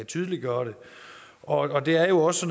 tydeliggøre det og det er jo også